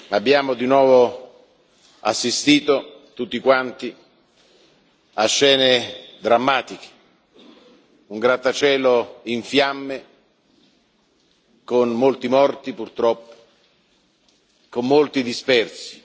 Abbiamo di nuovo assistito tutti quanti a scene drammatiche un grattacielo in fiamme, con molti morti, purtroppo, con molti dispersi.